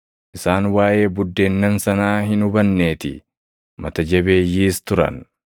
isaan waaʼee buddeennan sanaa hin hubanneetii; mata jabeeyyiis turan.